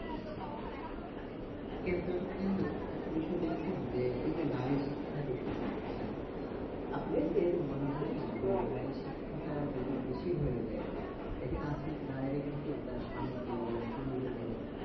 আচ্ছা কিন্তু, কিন্তু একটা বিষয় দেখছেন যে এই যে নারী শিক্ষার বিষয়টা বলছেন, আপনি কি কিছু মনে হয় না যে নারীর শিক্ষাটা যদি বেশি হয়ে যায়, দেখেন আজকাল নারীরা কিন্তু তার স্বামীকে বলেন পুরুষদের বলেন,